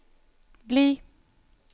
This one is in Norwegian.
bli